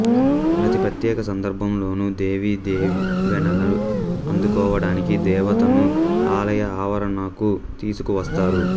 ప్రతి ప్రత్యేకసందర్భంలోనూ దేవి దీవెనలు అందుకోవడానికి దేవతను ఆలయ ఆవరణకు తీసుకు వస్తారు